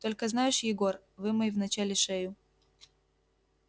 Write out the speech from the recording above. только знаешь егор вымой вначале шею